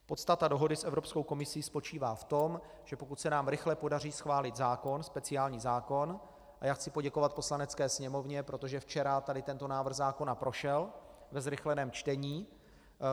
Podstata dohody s Evropskou komisí spočívá v tom, že pokud se nám rychle podaří schválit zákon, speciální zákon - a já chci poděkovat Poslanecké sněmovně, protože včera tady tento návrh zákona prošel ve zrychleném čtení.